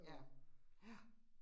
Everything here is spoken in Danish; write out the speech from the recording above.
Ja, ja